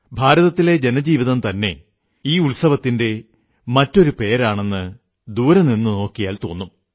ഭാരതത്തിലെ ജനജീവിതം തന്നെ ഈ ഉത്സവത്തിന്റെ മറ്റൊരു പേരാണെന്ന് ദൂരെ നിന്നു നോക്കിയാൽ തോന്നും